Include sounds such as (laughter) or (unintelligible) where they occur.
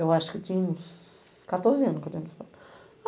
Eu acho que tinha uns quatorze anos que (unintelligible)